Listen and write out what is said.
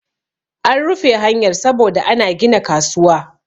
an rufe hanyar saboda ana gina kasuwa